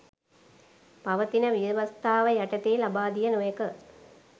පවතින ව්‍යවස්ථාව යටතේ ලබාදිය නොහැක